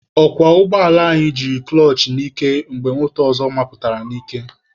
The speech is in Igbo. Ọkwọ ụgbọala anyị jiri kụlọchị n'ike mgbe moto ọzọ mapụtara n'ije.